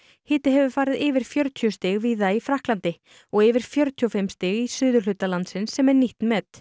hiti hefur farið yfir fjörutíu stig víða í Frakklandi og yfir fjörutíu og fimm stig í suðurhluta landsins sem er nýtt met